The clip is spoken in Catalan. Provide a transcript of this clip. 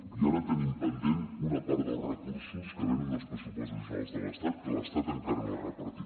i ara tenim pendent una part dels recursos que venen dels pressupostos generals de l’estat que l’estat encara no ha repartit